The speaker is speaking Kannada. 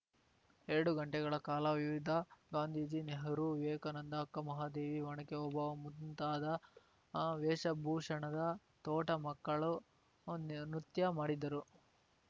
ಎರಡು ಗಂಟೆಗಳ ಕಾಲ ವಿವಿಧ ಗಾಂಧೀಜಿ ನೆಹರೂ ವಿವೇಕಾನಂದ ಅಕ್ಕ ಮಹಾದೇವಿ ಒಣಕೆ ಓಬವ್ವ ಮುಂತಾದ ವೇಷ ಭೂಷಣದ ತೋಟ ಮಕ್ಕಳು ನೃತ್ಯ ಮಾಡಿದರು